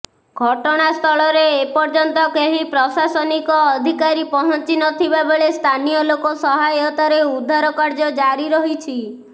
ଘଟଣାସ୍ଥଳରେ ଏପର୍ଯ୍ୟନ୍ତ କେହି ପ୍ରଶାସନିକ ଅଧିକାରୀ ପହଞ୍ଚି ନଥିବା ବେଳେ ସ୍ଥାନୀୟଲୋକ ସହାୟତାରେ ଉଦ୍ଧାର କାର୍ଯ୍ୟ ଜାରି ରହିଛି